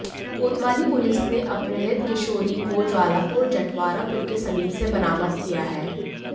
कोतवाली पुलिस ने अपहृत किशोरी को ज्वालापुर जटवाड़ा पुल के समीप से बरामद किया है